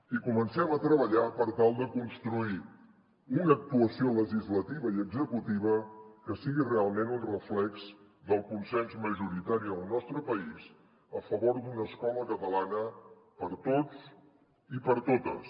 i comencem a treballar per tal de construir una actuació legislativa i executiva que sigui realment un reflex del consens majoritari del nostre país a favor d’una escola catalana per a tots i per a totes